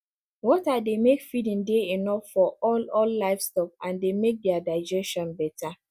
water dey make feeding dey enough for all all livestock and dey make their digestion better